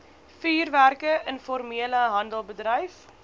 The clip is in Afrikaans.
vuurwerke informele handeldryf